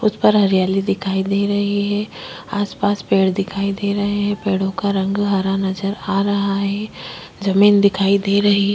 उस पर हरियाली दिखाई दे रही है आसपास पेड़ दिखाई दे रहे है पेड़ों का रंग हरा नज़र आ रहा है जमीन दिखाई दे रही-